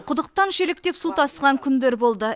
құдықтан шелектеп су тасыған күндер болды